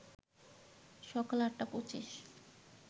সকাল ৮টা ২৫